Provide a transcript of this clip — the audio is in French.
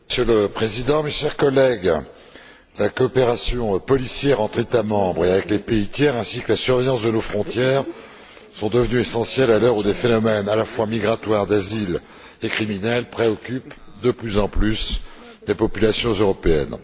Monsieur le Président, mes chers collègues, la coopération policière entre les États membres et avec les pays tiers, ainsi que la surveillance de nos frontières sont devenues essentielles à l'heure où les phénomènes à la fois migratoires, d'asileet criminels préoccupent de plus en plus les populations européennes.